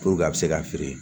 a bɛ se ka feere